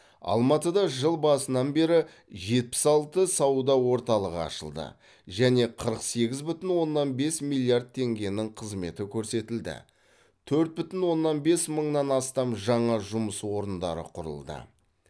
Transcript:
алматыда жыл басынан бері жетпіс алты сауда орталығы ашылды және қырық сегіз бүтін оннан бес миллиард теңгенің қызметі көрсетілді төрт бүтін оннан бес мыңнан астам жаңа жұмыс орындары құрылды